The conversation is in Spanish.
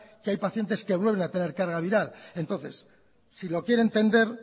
que hay pacientes que vuelven a tener carga viral entonces si lo quiere entender